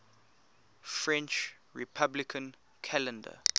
french republican calendar